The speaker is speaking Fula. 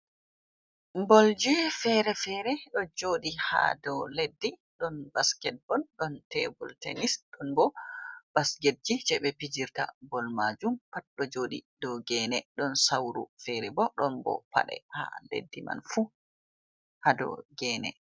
Bolji fere-fere ɗo joɗi ha dou leddi. Ɗon basket bal, ɗon tebul tenis, ɗon bo basketji je ɓe fijirta bol majum pat ɗo joɗi dou gene. Ɗon sauru fere bo, ɗon bo paɗe ha leddi man fu ha dou gene.